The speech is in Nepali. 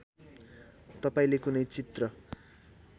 तपाईँले कुनै चित्र